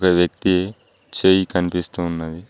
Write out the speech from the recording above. ఒక వ్యక్తి చేయి కనిపిస్తూ ఉన్నది.